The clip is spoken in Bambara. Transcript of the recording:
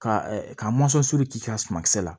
Ka ka k'i ka suma kisɛ la